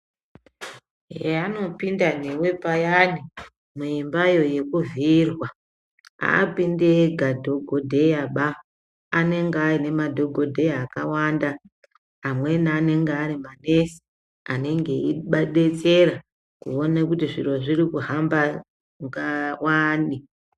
Heanopinda newe payani, muimbayo yekuvhiyirwa, haapindi ega dhogodheyaba. Anenge aine madhogodheya akawanda. Amweni anenge ari manesi, anenge eyidetsera kuone kuti zviro zviri kuhamba wani.